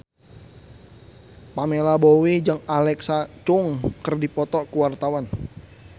Pamela Bowie jeung Alexa Chung keur dipoto ku wartawan